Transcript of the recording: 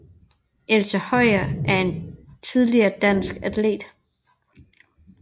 Elsa Høyer er en tidligere dansk atlet